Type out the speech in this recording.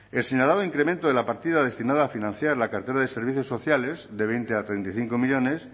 el señalado incremento de la partida destinada a financiar la cartera de servicios sociales de veinte a treinta y cinco millónes